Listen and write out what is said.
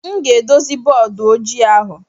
M ga-edozi bọọdụ ojii ahụ.